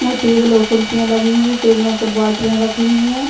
मो टेबल और कुर्सियां लगी हुई है टेबलो पर बोत्तले रखी हुई है।